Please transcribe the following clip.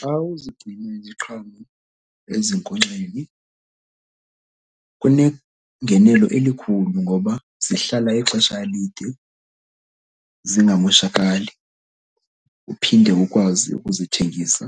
Xa uzigcina iziqhamo ezinkonkxeni kunengenelo elikhulu ngoba zihlala ixesha elide zingamoshakali uphinde ukwazi ukuzithengisa